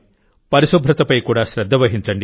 పరిశుభ్రతపై కూడా శ్రద్ధ వహించండి